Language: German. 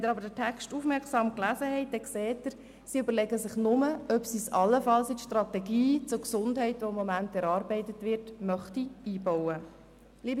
Wenn Sie jedoch die Antwort aufmerksam gelesen haben, dann sehen Sie, dass sich die Regierung nur überlegt, ob sie diesen Punkt allenfalls in die Strategie zur Gesundheit, die im Moment erarbeitet wird, einbauen möchte.